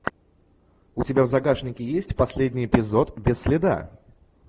у тебя в загашнике есть последний эпизод без следа